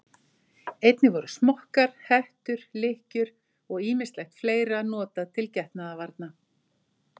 Einnig voru smokkar, hettur, lykkjur og ýmislegt fleira notað til getnaðarvarna.